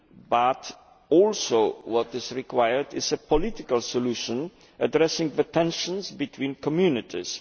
But what is also required is a political solution addressing the tensions between communities.